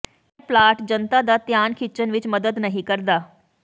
ਇਹ ਪਲਾਟ ਜਨਤਾ ਦਾ ਧਿਆਨ ਖਿੱਚਣ ਵਿਚ ਮਦਦ ਨਹੀਂ ਕਰ ਸਕਦਾ